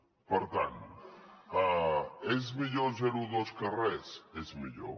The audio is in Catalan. per tant és millor el zero coma dos que res és millor